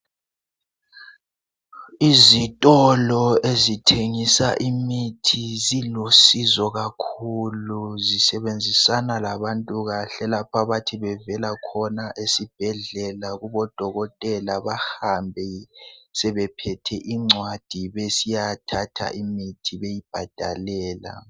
Izitolo ezithengisa imithi zilusizo kakhulu zisebenzisana labantu kahle lapho bathi bevela khona esibhedlela kubodokotela bahambe sebephethe incwadi besiyathatha imithi beyibhadalela.